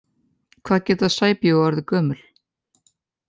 Hvað geta sæbjúgu orðið gömul?